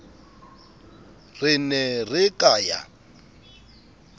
re ne re ka ya